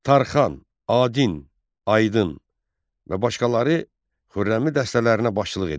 Tarxan, Adin, Aydın və başqaları Xürrəmi dəstələrinə başçılıq edirdilər.